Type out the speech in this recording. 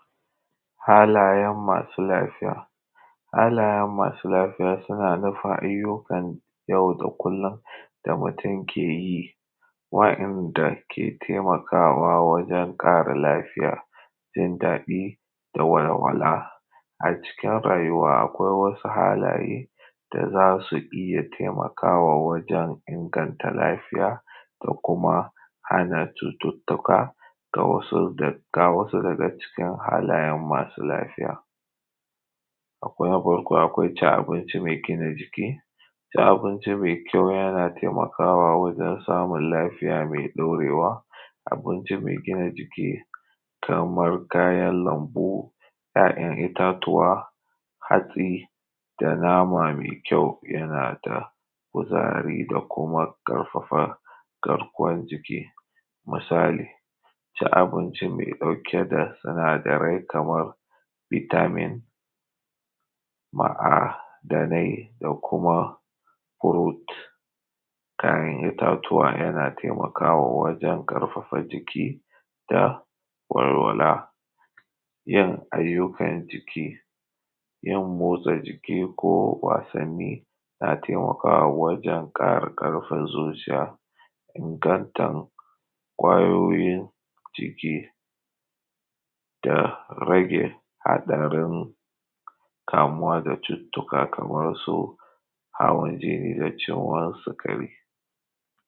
Halayen masu lafiya. Halayen masu lafiya suna nufin ayyukan yau da kullum da mutum ke yi, wa’inda ke taimakawa wajen ƙara lafiya, jindaɗi da walwala. Acikin rayuwa akwai wasu halaye da za su iya taimakawa wajen inganta lafiya da kuma hana cututtuka. Ga wasu daga cikin halaye masu lafiya: Akwai na farko cin abinci mai gina jiki; cin abinci mai kyau yana taimakawa wajen samun lafiya mai ɗorewa, abinci mai gina jiki kamar kayan lambu, itatuwa, hatsi da nama mai kyau yana da kuzari da kuma ƙarfafa garkuwan jiki. Misali; cin abinci mai ɗauke da sinadarai kamar bitamin, ma’adanai da kuma fruit ‘ya’yan itatuwa, yana taimakawa wajen ƙarfafa jiki da walwala. Yin ayyukan jiki, yin motsa jiki ko wasanni yana taimakawa wajen ƙara ƙarfin zuciya, ingantan ƙwayoyin jiki, da rage haɗarin kamuwa da cututtuka kamar su hawan jini da ciwon sukari.